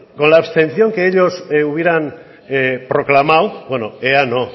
con la abstención que ellos hubieran proclamado bueno ea no